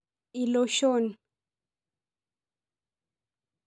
Iloshon.